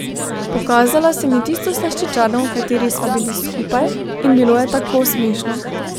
Pokazala sem ji tisto slaščičarno, v kateri sva bili skupaj, in bilo je tako smešno.